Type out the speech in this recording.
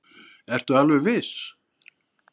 Ertu alveg viss?